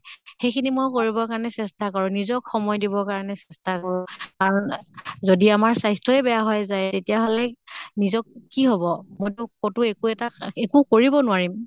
সেই খিনি মই কৰিবৰ কাৰণে চেষ্টা কৰোঁ। নিজক সময় দিব কাৰণে চেষ্টা কৰোঁ। কাৰণ যদি আমাৰ স্বাস্থ্য়ই বেয়া হৈ যায় তেতিয়াহলে নিজক কি হʼব। মইটো কতো একো এটা একো কৰিব নোৱাৰিম।